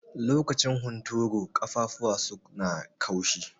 Lokacin hunturu, ƙafafuwa su na kaushi.